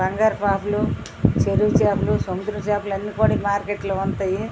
బంగారు పాపలు చెరువు చేపలు సముద్రం చేపలు అన్ని కూడా ఈ మార్కెట్ లో ఉంటాయి.